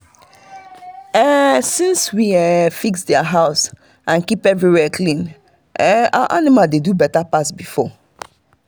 eh since we eh fix their house and keep dem clean our animal dey do better pass before